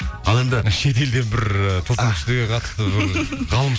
ал енді мына шетелде бір ыыы тылсым күштерге қатысты ғалым